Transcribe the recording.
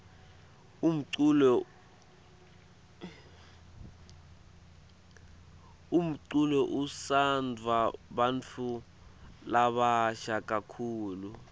umculo utsandvwa bantfu labasha kakhulu